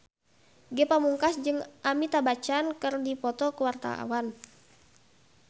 Ge Pamungkas jeung Amitabh Bachchan keur dipoto ku wartawan